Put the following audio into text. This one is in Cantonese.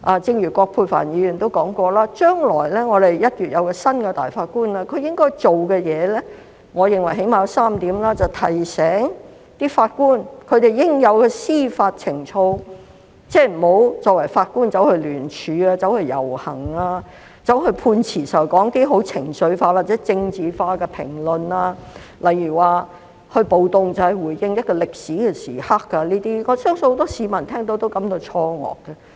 正如葛珮帆議員也提到，我們的新任首席法官將於1月履新，他應該做的事情，我認為最低限度有3點：提醒法官應具備的司法情操，即作為法官，不應參與聯署、遊行，或在撰寫判詞時作出情緒化或政治化的評論，例如參與暴動是見證一個歷史時刻這種評論，我相信很多市民聽到也會感到錯愕。